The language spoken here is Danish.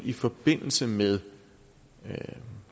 i forbindelse med